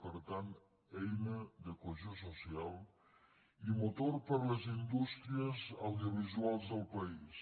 per tant eina de cohesió social i motor per a les indústries audiovisuals del país